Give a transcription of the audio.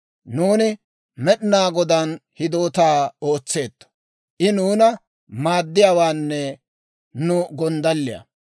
Nuuni Med'inaa Godaan hidootaa ootseetto; I nuuna maaddiyaawaanne nu gonddalliyaa.